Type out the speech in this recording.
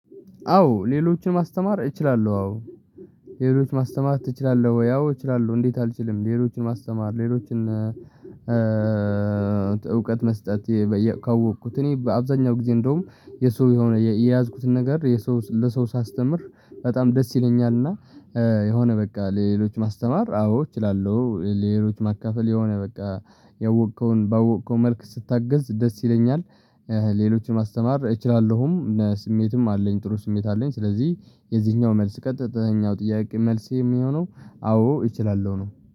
አዎ ሌሎችን ማስተማር እችላለሁ። አዎ ሌሎች ማስተማር ትችላለህ ወይ? አዎ እችላለሁ። እንዴት? አልችልም ሌሎችን ማስተማር ሌሎችን እውቀት መስጠት። ካወቅኩት እኔ በአብዛኛው ጊዜ እንደውም የሰው የሆነ የያዝኩትን ነገር የሰው ለሰው ሳስተምር በጣም ደስ ይለኛልና። የሆነ በቃ ለሌሎች ማስተማር አዎ እችላለሁ። ሌሎች ማካፈል የሆነ በቃ ያወከውን ባወከው መልኩ ስታገዝ ደስ ይለኛል። ሌሎችን ማስተማር እችላለሁም ስሜትም አለኝ ጥሩ ስሜት አለኝ። ስለዚህ የዚህኛው መልስ ቀጥተኛው ጥያቄ መልሴ የሚሆነው አዎ እችላለሁ ነው